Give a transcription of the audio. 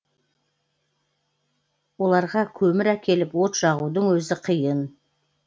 оларға көмір әкеліп от жағудың өзі қиын